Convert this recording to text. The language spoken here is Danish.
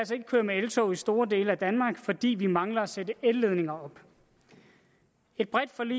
køre med eltog i store dele af danmark fordi vi mangler at sætte elledninger op et bredt forlig